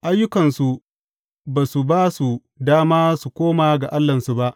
Ayyukansu ba su ba su dama su koma ga Allahnsu ba.